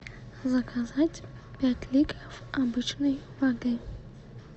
заказать пять литров обычной воды